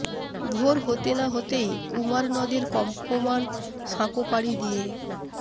ভোর হতে না হতেই কুমার নদের কম্পমান সাঁকো পাড়ি দিয়ে